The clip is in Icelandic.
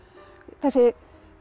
þessi